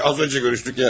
Az öncə görüşdük ya.